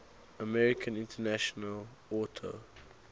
american international auto